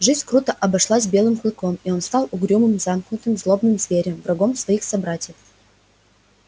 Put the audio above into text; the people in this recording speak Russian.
жизнь круто обошлась белым клыком и он стал угрюмым замкнутым злобным зверем врагом своих собратьев